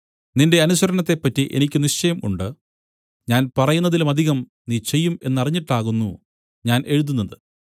നിന്റെ അനുസരണത്തെപ്പറ്റി എനിക്ക് നിശ്ചയം ഉണ്ട് ഞാൻ പറയുന്നതിലുമധികം നീ ചെയ്യും എന്നറിഞ്ഞിട്ടാകുന്നു ഞാൻ എഴുതുന്നത്